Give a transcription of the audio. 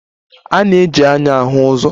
A na-eji anya ahu ụzọ